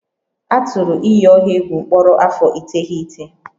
A tụrụ iyi ọha egwu mkpọrọ afọ iteghete